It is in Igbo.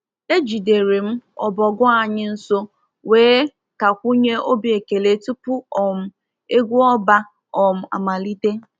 Ejidere m ọbọgwụ anyị nso wee takwunye obi ekele tupu um egwu ọba um amalite.